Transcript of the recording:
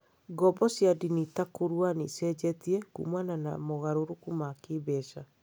Ngombo cia ndini ta kũrua nĩ icenjetie kumana na mogarũrũku ma kĩĩmbeca.